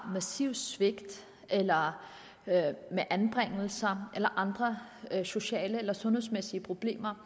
massive svigt eller anbringelser eller andre sociale eller sundhedsmæssige problemer